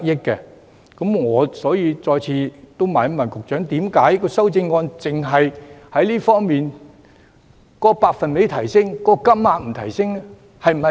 因此，我想再次詢問局長，為何今次修正案只提升百分比，卻沒有提升金額上限？